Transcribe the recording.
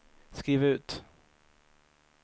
skriv ut